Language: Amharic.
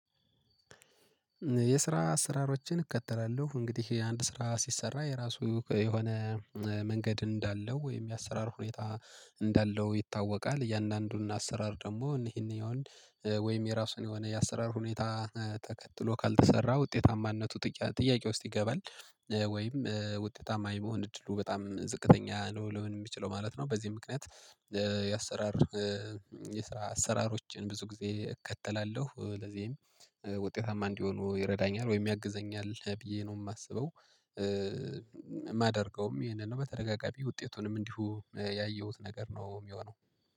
የስራ አሰራሮችን እከተላለሁ እንግዲህ አንድ ስራ ሲሰራ የራሱ የሆነ መንገድ እንዳለው ወይም የአሰራር ሁኔታ እንዳለው ይታወቃል። እያንዳንዱን አሰራር ደግሞ እነዚህን ይሆን ወይም የራሱን የሆነ የአሰራር ሁኔታ ተከትሎ ካልተሰራ ውጤታማነቱ ጥያቄ ውስጥ ይገባል ወይም ውጤታማ የመሆን እድሉ በጣም ዝቅተኛ ነው ልሆን የሚችለው ማለት ነው። በዚህ ምክንያት የአሰራር የስራ አሰራሮችን ብዙ ጊዜ እከተላለሁ ለዚህም ውጤታማ እንዲሆኑ ይረዳኛል ወይም ያግዘኛል ብዬ ነው የማስበው። የማደርገውም ይሄንን ነው በተደጋጋሚ ውጤቱንም እንዲሁ ያየሁት ነገር ነው የሚሆነው